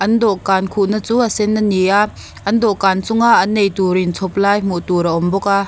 an dawhkan khuhna chu a sen a ni a an dawhkan chunga an eitur inchhawp lai hmuh tur a awm bawka--